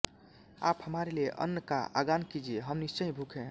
आप हमारे लिए अन्न का आगान कीजिये हम निश्चय ही भूखे हैं